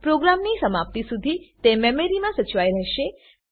પ્રોગ્રામની સમાપ્તિ સુધી તે મેમરીમાં સચવાઈ રહેશે